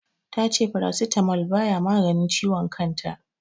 Ta ce Paracetamol baya maganin ciwon kan ta.